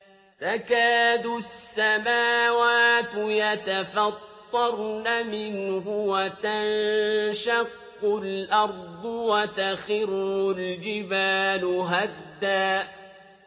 تَكَادُ السَّمَاوَاتُ يَتَفَطَّرْنَ مِنْهُ وَتَنشَقُّ الْأَرْضُ وَتَخِرُّ الْجِبَالُ هَدًّا